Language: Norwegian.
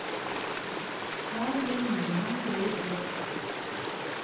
Her vil nordmenn gå i flokk.